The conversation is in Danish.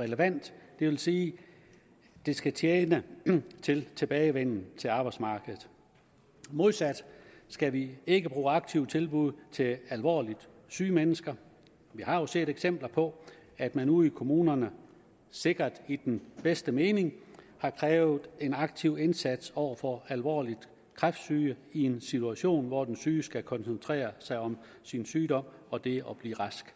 relevant det vil sige at det skal tjene til en tilbagevenden til arbejdsmarkedet modsat skal vi ikke bruge aktive tilbud til alvorligt syge mennesker vi har set eksempler på at man ude i kommunerne sikkert i den bedste mening har krævet en aktiv indsats over for alvorligt kræftsyge i en situation hvor den syge skal koncentrere sig om sin sygdom og det at blive rask